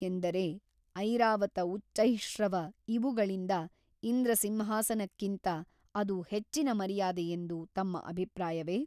ಎಂದರೆ ಐರಾವತ ಉಚ್ಚೈಃಶ್ರವ ಇವುಗಳಿಗಿಂತ ಇಂದ್ರಸಿಂಹಾಸನಕ್ಕಿಂತ ಅದು ಹೆಚ್ಚಿನ ಮರ್ಯಾದೆಯೆಂದು ತಮ್ಮಭಿಪ್ರಾಯವೆ ?